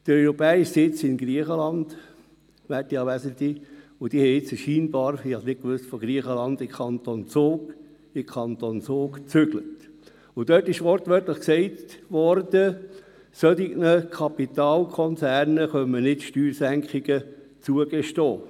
Der europäische Sitz in Griechenland ist nun scheinbar – ich wusste es nicht – in den Kanton Zug umgezogen, und es wurde wortwörtlich gesagt, solchen Kapitalkonzernen könne man nicht Steuersenkungen zugestehen.